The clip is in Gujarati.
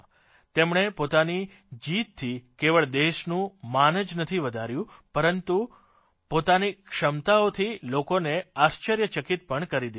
તેમણે પોતાની જીતથી કેવળ દેશનું માન જ નથી વધાર્યું પરંતુ પોતાની ક્ષમતાથી લોકોને આશ્ચર્યચકિત પણ કરી દીધા છે